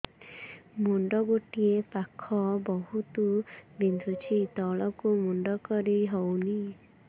ମୁଣ୍ଡ ଗୋଟିଏ ପାଖ ବହୁତୁ ବିନ୍ଧୁଛି ତଳକୁ ମୁଣ୍ଡ କରି ହଉନି